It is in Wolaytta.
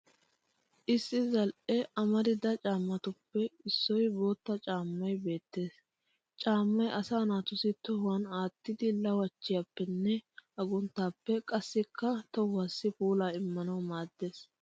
Issi zal'e amarida caammatuppe issi bootta caammay beettes. Caammay asa naatussi tohuwan aattidi lawachchiyappenne agunttaappe qassikka tohuwaasi puulaa immanawu maaddes.